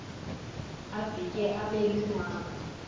abhitye abe lunwabu